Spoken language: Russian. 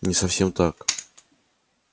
не совсем так